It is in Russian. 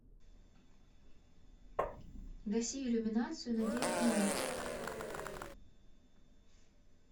гаси иллюминацию на девять минут